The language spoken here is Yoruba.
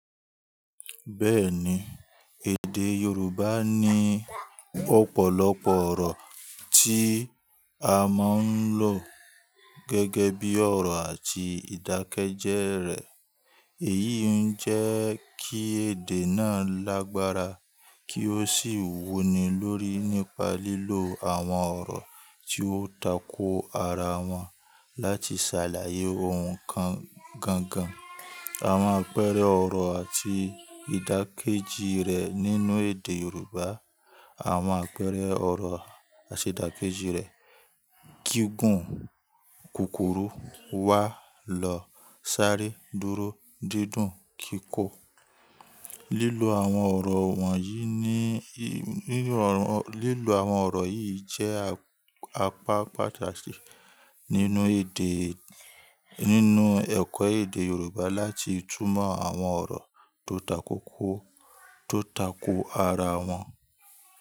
Bẹ́ẹ̀ni, èdè Yorùbá ní ọ̀pọ̀lọpọ̀ ọ̀rọ̀ tí a máa ń lò gẹ́gẹ́ bí ọ̀rọ̀ àti ìdákẹ́jẹ́ rẹ̀. Èyí ń jẹ́ kí èdè náà lágbára kí ó sì wuni lórí nípa lílo àwọn ọ̀rọ̀ tí ó tako ara wọn láti ṣàlàyé ohun kan gangan. Àwọn àpẹẹrẹ ọ̀rọ̀ àti ìdákẹ́jì rẹ̀ nínú èdè Yorùbá, àwọn àpẹẹrẹ ọ̀rọ̀ àṣedàkejì rẹ̀; gígùn, kòkòrò, wà lọ, sáré, dúró, dídùn, kíkó. Lílo àwọn ọ̀rọ̀ wọ̀nyí ní, lílo àwọn ọ̀rọ̀ yìí jẹ́ apá pàtàkì nínú èdè, nínú ẹ̀kọ́ èdè Yorùbá láti túmọ̀ àwọn ọ̀rọ̀ tó tako kó, tó tako ara wọn.